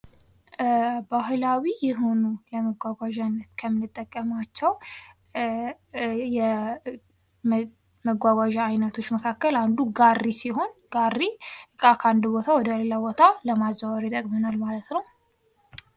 ባህላዊ የሆኑ መጓጓዥነት ከምንጠቀማቸው የመጓጓዣ አይነቶች መካከል አንዱ ጋሪ ሲሆን ጋሪ ዕቃን ከአንድ ቦታ ወደ ሌላ ቦታ ለማዘዋወር ይጠቅመናል ማለት ነው ።